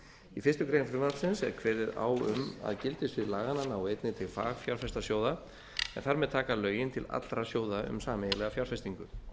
í fyrstu grein frumvarpsins er kveðið á um að gildissvið laganna nái einnig til fagfjárfestasjóða en þar með taka lögin til allra sjóða um sameiginlega fjárfestingu